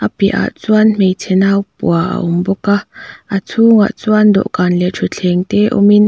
a piahah chuan hmeichhe nau pua a awm bawk a a chhungah chuan dawhkan leh thutthleng te awmin--